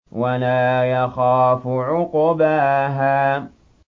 وَلَا يَخَافُ عُقْبَاهَا